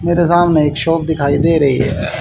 मेरे सामने एक शॉप दिखाई दे रही है।